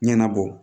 Ɲɛnabɔ